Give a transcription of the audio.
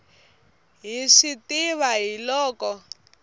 hi swi tiva hi loko